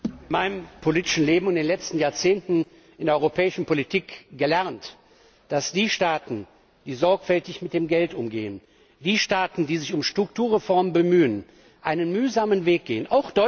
Ich habe in meinem politischen Leben in den letzten Jahrzehnten in der europäischen Politik gelernt, dass Staaten, die sorgfältig mit Geld umgehen, Staaten, die sich um Strukturreform bemühen, einen mühsamen Weg gehen.